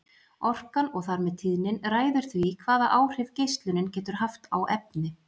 Orkan og þar með tíðnin ræður því hvaða áhrif geislunin getur haft á efni.